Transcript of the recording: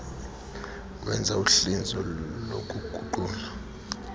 wenza uhlinzo lokuguqula